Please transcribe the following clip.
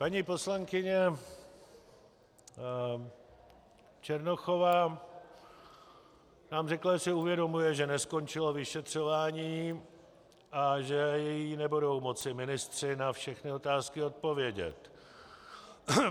Paní poslankyně Černochová nám řekla, že si uvědomuje, že neskončilo vyšetřování a že jí nebudou moci ministři na všechny otázky odpovědět.